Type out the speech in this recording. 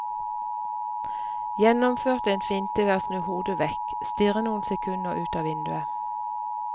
Gjennomførte en finte ved å snu hodet vekk, stirre noen sekunder ut av vinduet.